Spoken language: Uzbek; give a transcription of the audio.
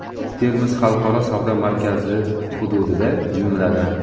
Termiz xalqaro savdo markazi hududida, jumladan:.